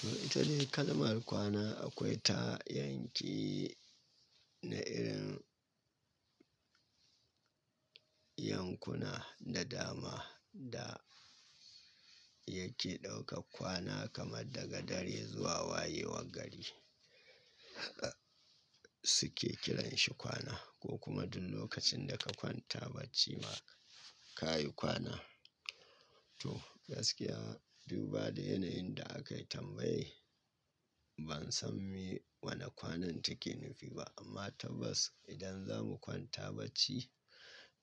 To ita dai kalmar kwana akwai ta yanki na irin yankuna da dama da yake ɗauka kwana kamar daga dare zuwa wayewar gari suke kiranshi kwana ko kuma duk lokacin da ka kwanta bacci ma ka yi kwana. To gaskiya duk ba da yanayin da aka tambaye ban san me wane kwanan take nufi ba amma tabbas idan za mu kwanta bacci,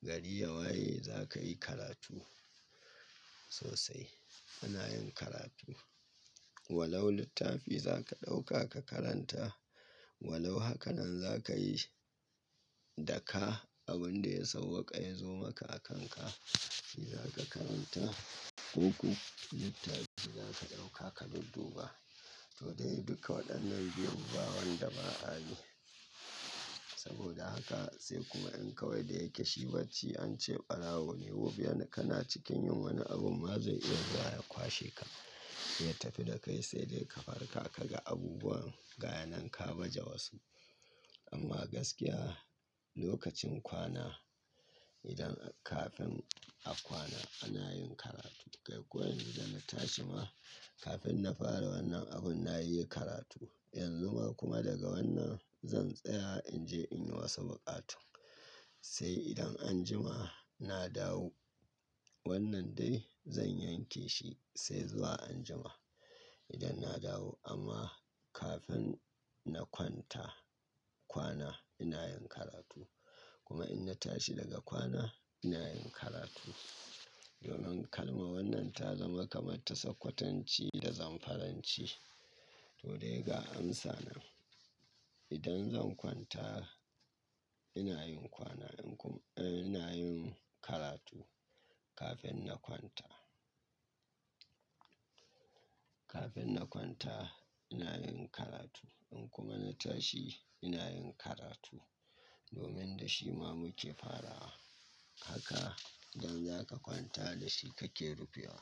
gari ya waye za ka yi karatu sosai. Ana yin karatu. Walau littafi za ka ɗauka ka karanta, walau haka nan za ka yi shi da kai abin da ya sauwaƙa ya zo maka a kanka shi za ka karanta ko ko littafi za ka ɗauka ka dudduba. To dai duka waɗannan biyu ba wanda ba'a yi. Saboda haka sai kuma in kawai da yake shi bacci an ce barawo wani ka na cikin yin wani abu ma zai iya zuwa ya kwashe ka. Ya tafi da kai sai dai ka farka ka ga abubuwan ga yananka baje wasu. Amma gaskiya lokacin kwana idan kafin a kwana ana yin karatu. Kai kuwa yanzu da na tashi ma kafin na fara wannan abun na yi karatu. Yanzu ma kuma daga wannan zan tsaya in je in yi wasu buƙatu. Sai idan an jima na dawo wannan dai zan yanke shi sai zuwa an jima idan na dawo amma kafin na kwanta kwana ina yin karatu kuma in na tashi daga kwana ina yin karatu. Domin kalma wannan ta zama kamar tasakkwatanci da zanfaranci. To dai ga amsa na. Idan zan kwanta ina yin kwana in kuma-- eh ina yin karatu kafin na kwanta. Kafin na kwanta ina yin karatu in kuma na tashi ina yin karatu domin da shi ma muke farawa haka idan za ka kwanta da shi kake rufewa.